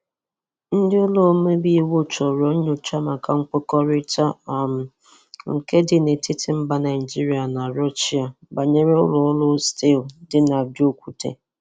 Ndị ụlọ ọmebe iwu chọrọ nkọwa maka nkwekọrịta um nke dị n'etiti mbà Nigeria na Russia, banyere ụlọ ọrụ stiil di n'Ajaokuta.